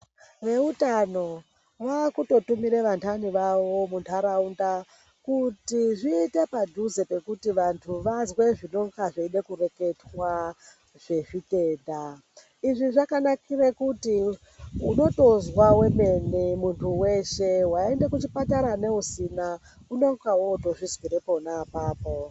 Veutano vaakutotumire vantani vavo muntaraunda kuti zviite padhuze nekuti vantu vazwe zvinonga zveide kureketwa zvezvitenda. Izvi zvakanakire kuti unotozwa wemene muntu weshe waende kuchipatara neusina unonga wootozvizwire pona apapo.